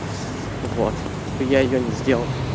вот типа я её не сделал